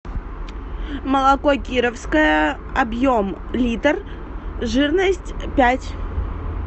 молоко кировское объем литр жирность пять